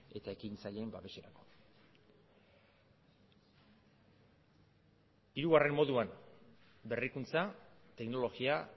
eta ekintzaileen babeserako hirugarren moduan berrikuntza teknologia